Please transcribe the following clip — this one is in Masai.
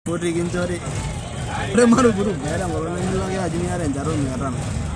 Ore eishoi embeku eilata ana alizeti keta tipata sapuk.